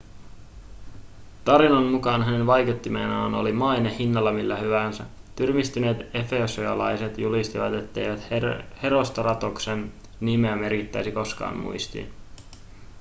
tarinan mukaan hänen vaikuttimenaan oli maine hinnalla millä hyvänsä tyrmistyneet efesoslaiset julistivat ettei herostratoksen nimeä merkittäisi koskaan muistiin